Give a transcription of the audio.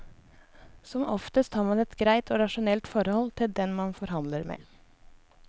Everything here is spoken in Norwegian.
Som oftest har man et greit og rasjonelt forhold til den man forhandler med.